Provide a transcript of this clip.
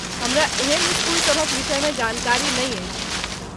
हमरा एहन स्कूल सभक विषयमे जानकारी नहि अछि ।